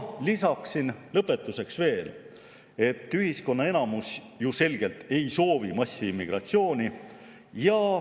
Lisan lõpetuseks veel, et ühiskonna enamus ju selgelt ei soovi massiimmigratsiooni.